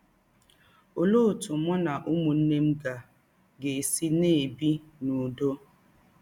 Ọlee ọtụ mụ na ụmụnne m ga - ga - esi na - ebi n’ụdọ?